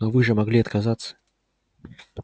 но вы же могли отказаться